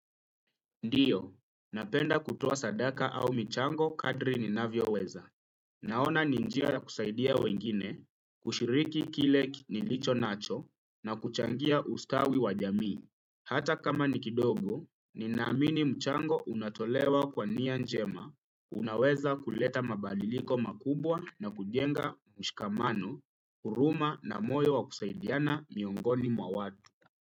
Ndiyo, napenda kutoa sadaka au michango kadri ninavyoweza. Naona ni njia kusaidia wengine, kushiriki kile nilicho nacho na kuchangia ustawi wa jamii. Hata kama ni kidogo, ninamini mchango unatolewa kwa nia njema. Unaweza kuleta mabadiliko makubwa na kujenga mshikamano, huruma na moyo wa kusaidiana miongoni mwa watu.